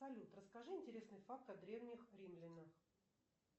салют расскажи интересный факт о древних римлянах